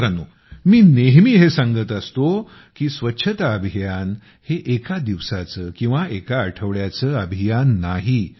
मित्रानो मी नेहमी हे सांगत असतो की हे स्वच्छता अभियान एका दिवसाचं किंवा एका आठवड्याचं अभियान नाही